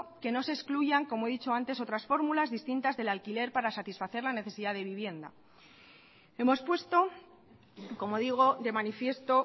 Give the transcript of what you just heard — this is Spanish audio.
que no se excluyan como he dicho antes otras fórmulas distintas del alquiler para satisfacer la necesidad de vivienda hemos puesto como digo de manifiesto